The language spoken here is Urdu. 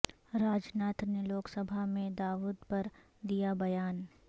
راج ناتھ نے لوک سبھا میں داود پر دیا بیان